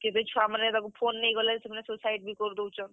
କେତେ ଛୁଆ ମାନେ ଦେଖ phone ନେଇ ଗଲେ ସେମାନେ suicide ବି କରି ଦଉଛନ୍।